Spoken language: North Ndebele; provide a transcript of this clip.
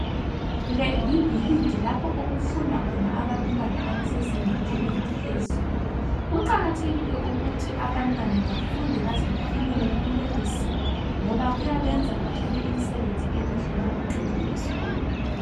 Le libhilidi lapho okufunda khona abantwana abasezingeni elingaphezulu. Kuqakathekile ukuthi abantwana bafunde baze bafinyelele kulelizinga, ngoba kuyabenza bathole imisebenzi emihle nxa beqedile esikolo.